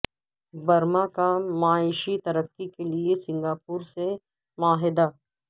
Burma کا معاشی ترقی کے لیے سنگاپور سے معاہدہ